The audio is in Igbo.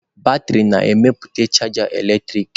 Batrị na-emepụta chaja eletrik.